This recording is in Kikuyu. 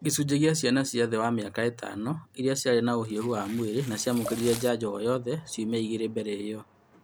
Gĩcunji gĩa ciana cia thĩ wa mĩaka ĩtano iria ciarĩ na ũhiũhu wa mwĩrĩ na nĩciamũkĩrire njanjo ooyothe ciumia igĩrĩ mbele ĩo